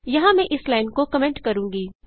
यहाँ मैं इस लाइन को कमेंट करूँगी